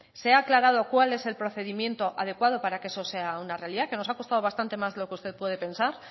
se ha aclarado cuál es el procedimiento adecuado para que eso sea una realidad que nos ha costado bastante más de lo que usted puede pensar